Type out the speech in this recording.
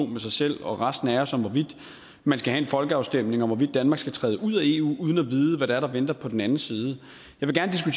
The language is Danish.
med sig selv og resten af os om hvorvidt man skal have en folkeafstemning om hvorvidt danmark skal træde ud af eu uden at vide hvad det er der venter på den anden side